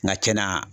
Nka kɛnɛya